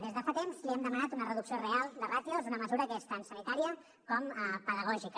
des de fa temps li hem demanat una reducció real de ràtios una mesura que és tant sanitària com pedagògica